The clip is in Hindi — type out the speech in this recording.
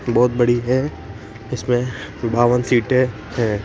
बहोत बड़ी है इसमे बावन सीटे हैं।